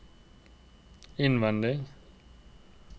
innvendig